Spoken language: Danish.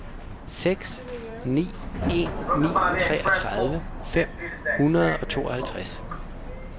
seks ni en ni treogtredive fem hundrede og tooghalvtreds